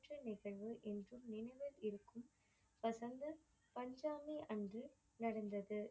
நிகழ்வு என்றும் நினைவில் இருக்கும் வசந்த பஞ்சாமி அன்று நடந்தது.